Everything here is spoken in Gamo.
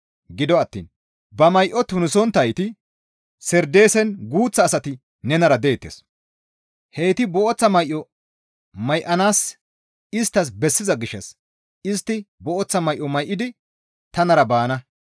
Gido attiin ba may7o tunisonttayti Sardeesen guuththa asati nenara deettes; heyti booththa may7o may7anayssi isttas bessiza gishshas istti booththa may7o may7idi tanara baana.